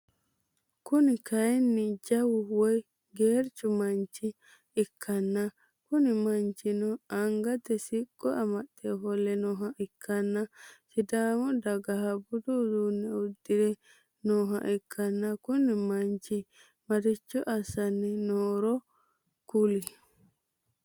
Kuni kaayiini jawa woy geerchcho manchi ikkana Kuni manchino angate siqqo amaxxe ofolle nooha ikkanna sidaamu dagaha budu uduunne udire nooha ikkana Kuni manchi maricho assanni noohoro kuli ?